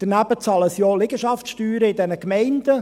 Daneben bezahlen sie auch Liegenschaftssteuern in den Gemeinden.